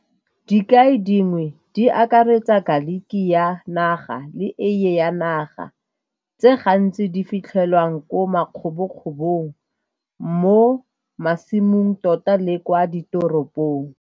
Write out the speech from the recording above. Dikai dingwe di akaretsa garlic ya naga, le eiye ya naga tse gantsi di fitlhelwang ko makgobo-kgobong mo masimong tota le kwa ditoropong.